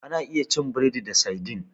Ana iya cin burodi da saidin.